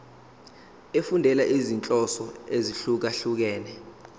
efundela izinhloso ezahlukehlukene